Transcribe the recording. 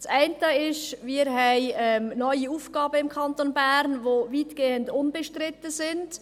Der eine Punkt ist, dass wir im Kanton Bern neue Aufgaben haben, die weitgehend unbestritten sind.